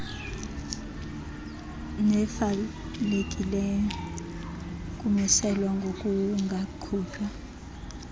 nefalekileyo kumiselwa ngokungaqhutywa